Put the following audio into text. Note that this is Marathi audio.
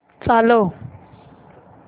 चालव